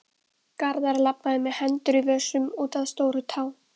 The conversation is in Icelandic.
Garðar labbaði með hendur í vösum út að Stórutá.